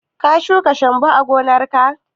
Ka shuka shambo a gonar ka?